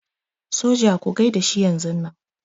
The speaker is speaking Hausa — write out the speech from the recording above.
Soja ku gaida shi yanzunnan.